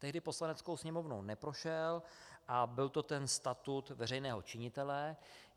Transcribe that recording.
Tehdy Poslaneckou sněmovnou neprošel a byl to ten statut veřejného činitele.